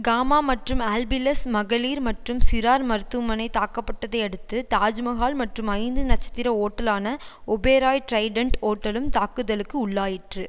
gamma மற்றும் ஆல்பிளெஸ் மகளிர் மற்றும் சிறார் மருத்துவமனை தாக்கப்பட்டதை அடுத்து தாஜ் மகால் மற்றும் ஐந்து நட்சத்திர ஒட்டலான ஒபேராய்டிரைடன்ட் ஒட்டலும் தாக்குதலுக்கு உள்ளாயிற்று